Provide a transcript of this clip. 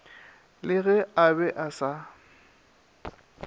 le ge a be asa